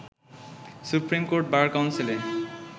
supreme court bar কাউন্সিলে